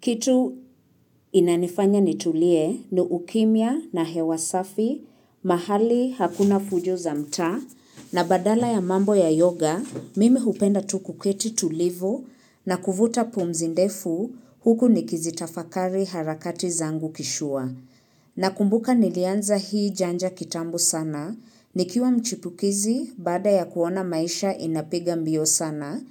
Kitu inanifanya nitulie ni ukimya na hewa safi, mahali hakuna fujo za mtaa, na badala ya mambo ya yoga, mimi hupenda tu kuketi tulivu na kuvuta pumzi ndefu huku nikizitafakari harakati zangu kishua. Na kumbuka nilianza hii janja kitambo sana, nikiwa mchipukizi baada ya kuona maisha inapiga mbio sana,